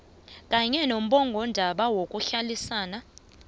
kanye nommongondaba yokuhlalisana